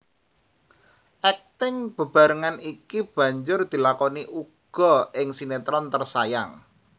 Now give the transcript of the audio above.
Akting bebarengan iki banjur dilakoni uga ing sinetron Tersayang